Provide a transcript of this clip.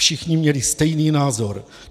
Všichni měli stejný názor.